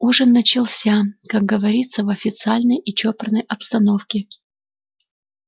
ужин начался как говорится в официальной и чопорной обстановке